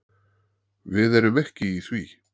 Við erum ekki í því.